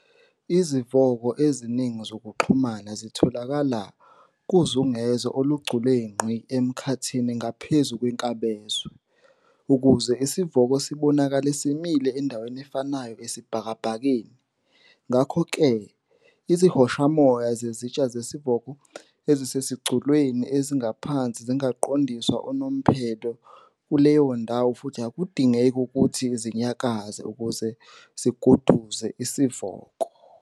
Izivoko eziningi zokuxhumana zitholakala kuzungezo olugculengqi emkhathini ngaphezu kwenkabazwe, ukuze isivoko sibonakale simile endaweni efanayo esibhakabhakeni, ngakho-ke izihoshamoya zesitsha sesivoko ezisezigculweni eziphansi zingaqondiswa unomphela kuleyo ndawo futhi akudingeki ukuthi zinyakaze ukuze ziguduze isivoko.